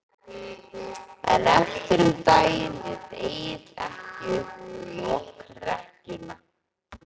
En eftir um daginn lét Egill ekki upp lokrekkjuna.